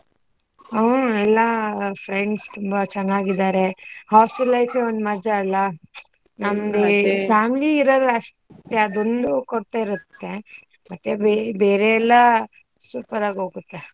ಹ ಎಲ್ಲಾ friends ತುಂಬಾ ಚನ್ನಾಗಿದ್ದಾರೆ, hostel life ಏ ಒಂದ್ ಮಜಾ ಅಲ್ಲ? ನಮ್ದ್ ಈ family ಇರಲ್ಲ ಅಷ್ಟೇ, ಅದೊಂದು ಕೊರ್ತೆ ಇರುತ್ತೆ ಮತ್ತೆ ಬೇರ್ ಬೇರೆಲ್ಲಾ super ಆಗೊಗುತ್ತೆ.